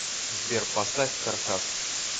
сбер поставь каркасс